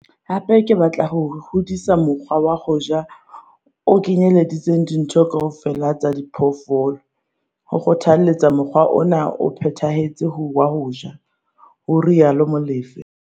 "Hape ke batla ho hodisa mokgwa wa ho ja o kenyeletsang ditho kaofela tsa phoofolo, ho kgothaletsa mokgwa ona o phethahetseng wa ho ja," ho rialo Molefe.